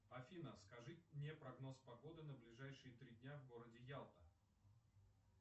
афина скажи мне прогноз погоды на ближайшие три дня в городе ялта